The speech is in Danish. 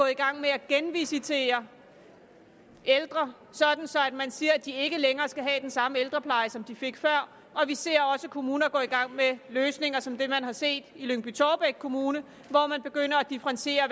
i gang med at genvisitere ældre sådan at man siger at de ikke længere skal have den samme ældrepleje som de fik før vi ser også kommuner gå i gang med løsninger som det man har set i lyngby taarbæk kommune hvor man begynder at differentiere